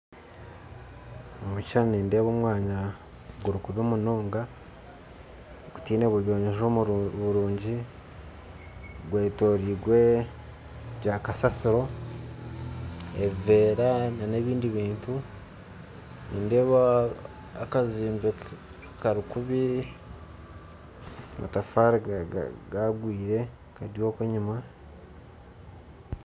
Omukishushani nindeeba omwanya gurikubi munonga gutaine buyonjo burungi gwetoroirwe by'akasasiro ebivera na ebindi bintu nindeeba akazimbe karikubi amatafari gagwire Kari oku enyuma.